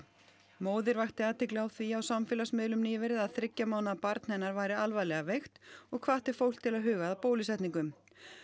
móðir vakti athygli á því á samfélagsmiðlum nýverið að þriggja mánaða barn hennar væri alvarlega veikt og hvatti fólk til að huga að bólusetningum